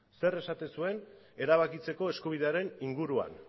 zer esaten zuen erabakitzeko eskubidearen inguruan